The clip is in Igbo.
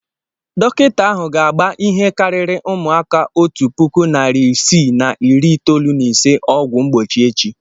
Dọkịta ahụ ga-agba ihe karịrị ụmụaka otu puku narị isii na iri itoolu na ise ọgwụ mgbochi echi